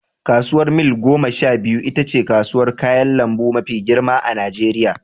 Kasuwar mil gomasha biyu itace kasuwar kayan lambu mafi girma a najeriya